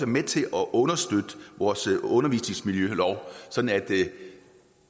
med til at understøtte vores undervisningsmiljølov sådan